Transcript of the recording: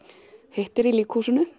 hittir í